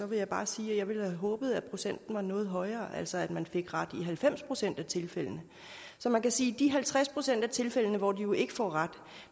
vil jeg bare sige at jeg ville have håbet at procenten var noget højere altså at man fik ret i halvfems procent af tilfældene så man kan sige at i de halvtreds procent af tilfældene hvor de jo ikke får ret